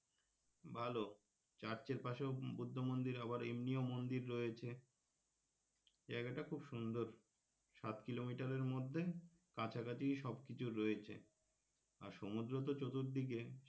ভালো church এর পাশেও বৌদ্ধ মন্দির আবার এমনিও মন্দির রয়েছে এই জায়গাটা খুব সুন্দর সাত কিলোমিটারের মধ্যে কাছাকাছি সব কিছু রয়েছে আর সমুদ্র তো চতুর্দিকে,